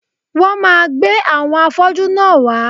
Wón máa gbé àwọn afọ́jú náà wá